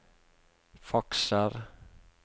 fakser